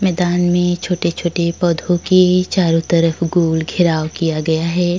मैदान में छोटे छोटे पोधो के चारों तरफ़ गोल गेहराव किया गया है।